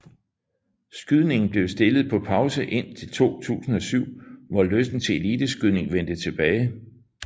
Skydningen blev stillet på pause indtil 2007 hvor lysten til elite skydning vendte tilbage